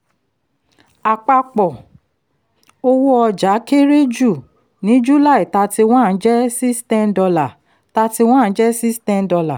àpapọ̀ owó ọjà kéré jù ní july thirty-one jẹ́ six ten dollar thirty-one jẹ́ six ten dollar